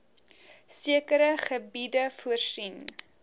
sekere gebiede voorsien